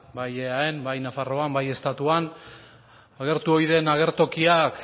bai eaen bai nafarroan bai estatuan agertu oi den agertokiak